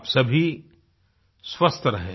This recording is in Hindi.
आप सभी स्वस्थ रहें